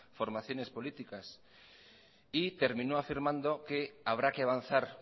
formaciones políticas y terminó afirmando que habrá que avanzar